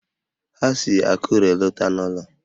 Ha si Akure lọta n'ụlọ